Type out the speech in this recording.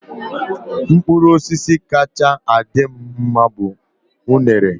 Mkpụrụ osisi kacha adị m mma bu unere.